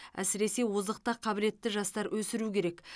әсіресе озық та қабілетті жастар өсіру керек